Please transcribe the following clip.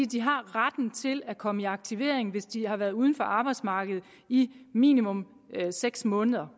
de har retten til at komme i aktivering hvis de har været uden for arbejdsmarkedet i minimum seks måneder